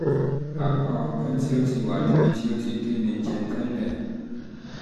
àpá ọgbẹ́ um tí ó ti wà níbi tí ó ti geni geni jẹ tẹ́lẹ̀